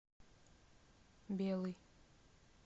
белый